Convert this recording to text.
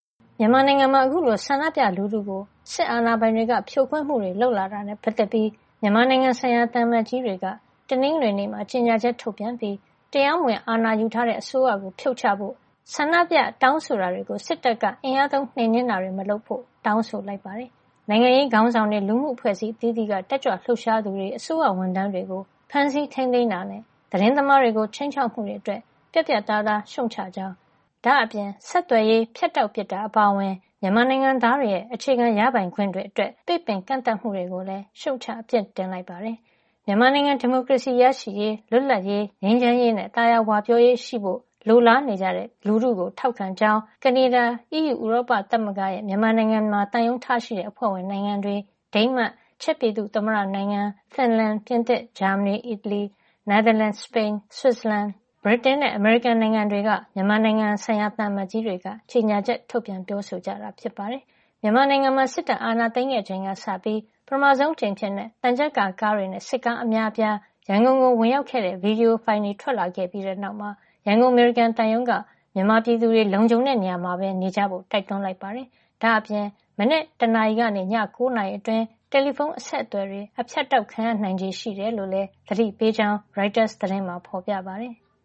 မြန်မာနိုင်ငံမှာ စစ်အာဏာပိုင်တွေက ဆန္ဒပြလူထုကို ဖြိုခွင်းမှုတွေ လုပ်လာတာနဲ့ပတ်သက်ပြီး မြန်မာနိုင်ငံဆိုင်ရာ သံအမတ်ကြီးတွေက တနင်္ဂနွေနေ့မှာ ကြေညာချက် ထုတ်ပြန်လိုက်ပါတယ်။ ကြေညာချက်ထဲမှာ တရားမဝင် အာဏာယူထားတဲ့ အစိုးရကို ဖြုတ်ချဖို့ ဆန္̔ဒပြတောင်းဆိုတာတွေကို စစ်တပ်က အင်အားသုံး နှိမ်နင်းတာတွေ မလုပ်ဖို့ တောင်းဆိုလိုက်ပါတယ်။ နိုင်ငံရေးခေါင်းဆောင်တွေ၊ လူမှုအဖွဲ့အစည်း အသီးသီးက တက်ကြွလှုပ်ရှားသူတွေ၊ အစိုးရဝန်ထမ်းတွေကို ဖမ်းဆီးထိန်းသိမ်းတာအပြင် သတင်းသမားတွေကို ခြိမ်းခြောက်မှုတွေ အတွက်ပါ ပြတ်ပြတ်သားသား ရှုတ်ချကြောင်း ပြောပါတယ်။ ဒါ့အပြင် ဆက်သွယ်ရေးဖြတ်တောက်ပစ်တာရော၊ မြန်မာနိုင်ငံသားတွေရဲ့ အခြေခံ ရပိုင်ခွင့်တွေအတွက် ပိတ်ပင်ကန့်သတ်မှုတွေကိုလည်း ရှုတ်ချ ပြစ်တင်လိုက်ပါတယ်။ မြန်မာနိုင်ငံ ဒီမိုကရေစီရရှိရေး၊ လွတ်လပ်ရေး၊ ငြိမ်းချမ်းရေးနဲ့ သာယာဝပြောရေးရှိဖို့ လိုလားတောင့်တနေကြတဲ့ မြန်မာလူထုကို ထောက်ခံကြောင်း ကနေဒါ၊ အီးယူ ဥရောပသမဂ္ဂရဲ့ မြန်မာနိုင်ငံမှာ သံရုံးထားရှိတဲ့ အဖွဲ့ဝင်နိုင်ငံတွေ၊ ဒိန်းမတ်၊ ချက်ပြည်သူ့ သမ္မတနိုင်ငံ၊ ဖင်လန် ၊ ပြင်သစ်၊ ဂျာမဏီ၊ အီတလီ၊ နယ်သာလန်၊ စပိန်၊ ဆွီဒင်၊ ဆွစ်ဇလန်၊ ဗြိတိန်နဲ့ အမေရိကန် နိုင်ငံတွေက မြန်မာနိုင်ငံဆိုင်ရာ သံအမတ်ကြီးတွေက ကြေညာချက် ထုတ်ပြန်ပြောဆိုလိုက်တာပါ။ မြန်မာနိုင်ငံမှာ စစ်တပ်က အာဏာသိမ်းခဲ့ချိန်ကစပြီး ပထမဆုံးအကြိမ်အဖြစ် သံချပ်ကာ ကားတွေနဲ့ စစ်ကားအများအပြား ရန်ကုန်ကို ဝင်ရောက်လာတဲ့ ဗီဒီယိုဖိုင်တွေ ထွက်လာခဲ့ပြီးတဲ့ နောက်မှာ ရန်ကုန် အမေရိကန်သံရုံးက မြန်မာပြည်သူတွေ လုံခြုံတဲ့ နေရာမှာပဲ နေကြဖို့ တိုက်တွန်းလိုက်ပါတယ်။ ဒါ့အပြင် အာရုံတက် ၁ နာရီကနေ မနက် ၉ နာရီအတွင်း တယ်လီဖုန်း အဆက်အသွယ်တွေ အဖြတ်ခံရနိုင်ခြေရှိတယ်လို့ သတိပေးလိုက်ကြောင်းလည်း ရိုက်တာသတင်းမှာ ဖေါ်ပြပါတယ်။